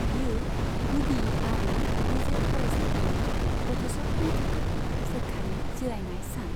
बियो गुदि आरो गेजेर फरायसालिनि गथ'साफोरनि थाखाय सोरखारि जिरायनाय सान।